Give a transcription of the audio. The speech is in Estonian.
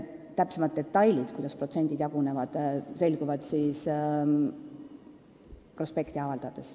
Täpsemad detailid, kuidas protsendid jagunevad, selguvad siis, kui prospekt on avaldatud.